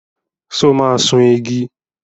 So máa sun igi?